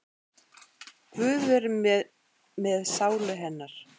Guð veri með sálu hennar.